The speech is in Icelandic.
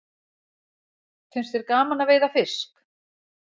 Finnst þér gaman að veiða fisk?